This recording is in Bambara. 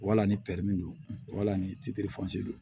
Wala ni don wala ni don